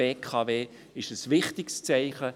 Es ist ein wichtiges Zeichen.